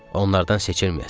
Onlardan seçilməyəsən.